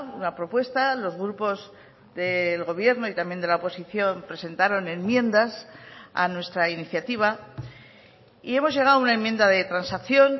una propuesta a los grupos del gobierno y también de la oposición presentaron enmiendas a nuestra iniciativa y hemos llegado a una enmienda de transacción